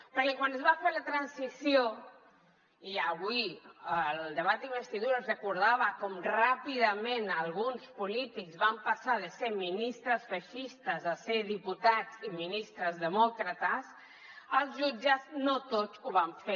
perquè quan es va fer la transició i avui el debat d’investidura recordava com ràpidament alguns polítics van passar de ser ministres feixistes a ser diputats i ministres demòcrates els jutges no tots ho van fer